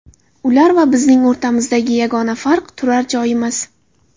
Ular va bizning o‘rtamizdagi yagona farq turar-joyimiz.